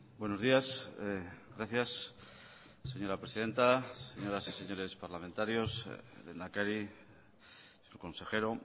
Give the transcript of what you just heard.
buenos días gracias señora presidenta señoras y señores parlamentarios lehendakari consejero